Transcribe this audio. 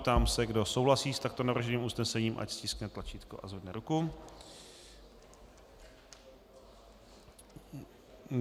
Ptám se, kdo souhlasí s takto navrženým usnesením, ať stiskne tlačítko a zvedne ruku.